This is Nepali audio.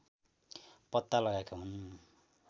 पत्ता लगाएका हुन्